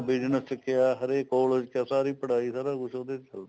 business ਚ ਕਿਹਾ ਹਰੇਕ collage ਚ ਸਾਰੀ ਪੜ੍ਹਾਈ ਸਾਰਾ ਕੁੱਛ ਉਹਦੇ ਤੇ ਚੱਲ ਪਿਆ